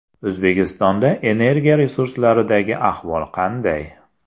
O‘zbekistonda energiya resurslaridagi ahvol qanday?.